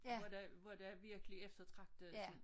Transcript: Hvor der hvor der er virkelig eftertragtet til